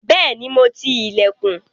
Bẹ́ẹ̀ni, mo ti ilẹ̀kùn.